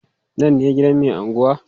Nan ne gidan mai anguwa?